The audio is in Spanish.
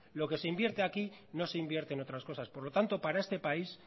lo que se invierte aquí no se invierte en otras cosas por lo tanto para este país